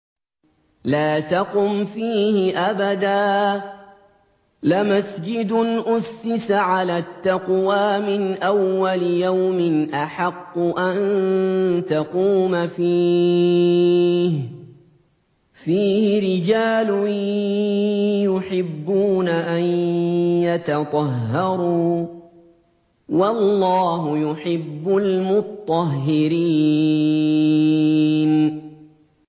لَا تَقُمْ فِيهِ أَبَدًا ۚ لَّمَسْجِدٌ أُسِّسَ عَلَى التَّقْوَىٰ مِنْ أَوَّلِ يَوْمٍ أَحَقُّ أَن تَقُومَ فِيهِ ۚ فِيهِ رِجَالٌ يُحِبُّونَ أَن يَتَطَهَّرُوا ۚ وَاللَّهُ يُحِبُّ الْمُطَّهِّرِينَ